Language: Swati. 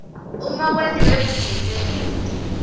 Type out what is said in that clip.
uma kwentiwe bugebengu